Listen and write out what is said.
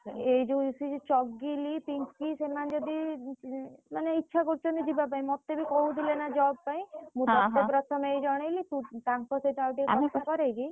ଏଇ ଯୋଉ ମିଶିକି ପିଙ୍କି ସେମାନେ ଯଦି ଉଁ ମାନେ ଇଚ୍ଛା କରୁଛନ୍ତି ଯିବା ପାଇଁ ମତେ ବି କହୁଥିଲେ ନା job ପାଇଁ ମୁଁ ପ୍ରଥମେ ଜଣେଇଲି।